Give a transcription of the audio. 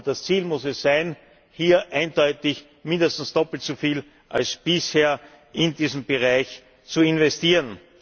Aber das Ziel muss sein, hier eindeutig mindestens doppelt so viel wie bisher in diesen Bereich zu investieren.